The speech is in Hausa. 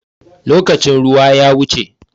Lokacin ruwa ya wuce.